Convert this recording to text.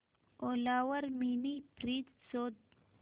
ओला वर mini fridge शोध